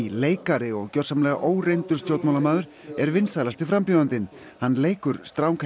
leikari og gjörsamlega óreyndur stjórnmálamaður er vinsælasti frambjóðandinn hann leikur